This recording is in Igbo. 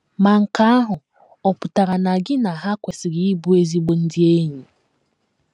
Ma nke ahụ ọ̀ pụtara na gị na ha kwesịrị ịbụ ezigbo ndị enyi?